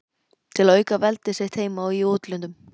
til að auka veldi sitt heima og í útlöndum.